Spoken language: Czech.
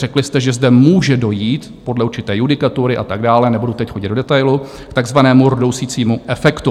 Řekli jste, že zde může dojít podle určité judikatury a tak dále, nebudu teď chodit do detailu, k takzvanému rdousícímu efektu.